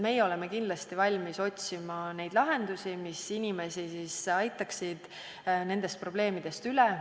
Meie oleme kindlasti valmis otsima lahendusi, mis aitaksid inimesi nendest probleemidest üle.